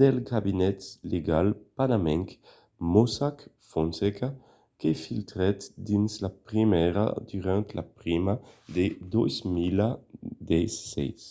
del cabinet legal panamenc mossack fonseca que filtrèt dins la premsa durant la prima de 2016